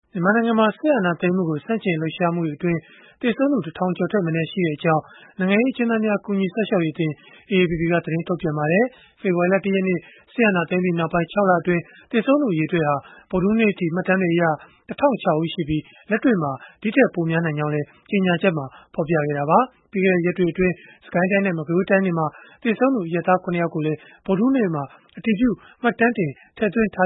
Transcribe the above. မြန်မာနိုင်ငံမှာ စစ်အာဏာသိမ်းမှုကို ဆန့်ကျင်လှုပ်ရှားမှုတွေအတွင်း သေဆုံးသူ ၁ ထောင်ကျော်ထက်မနည်း ရှိခဲ့ကြောင်း နိုင်ငံရေး အကျဉ်းသားများ ကူညီစောင့်ရှောက်ရေးအသင်း (AAPP) က သတင်းထုတ်ပြန်လိုက်ပါတယ်။ ဖေဖော်ဝါရီလ ၁ ရက်နေ့ စစ်အာဏာသိမ်းပြီးနောက်ပိုင်း ၆ လအတွင်း သေဆုံးသူ အရေအတွက်ဟာ ဗုဒ္ဓဟူးနေ့အထိ မှတ်တမ်းတွေအရ ၁,၀၀၆ ဦး ရှိခဲ့ပြီး၊ လက်တွေ့မှာ ဒီထက်ပိုများနိုင်ကြောင်းလည်း ကြေညာချက်မှာ ဖော်ပြခဲ့တာပါ။ ပြီးခဲ့တဲ့ ရက်တွေအတွင်း စစ်ကိုင်းတိုင်းနဲ့ မကွေးတိုင်းတွေမှာ သေဆုံးသူ အရပ်သား ၇ ယောက်ကိုလည်း ဗုဒ္ဓဟူးနေ့မှာ အတည်ပြု မှတ်တမ်းတင် ထည့်သွင်းထာ